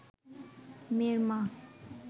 মেয়ের মা